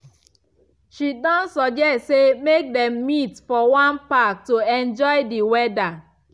she don suggest say make them meet for one park to enjoy d weather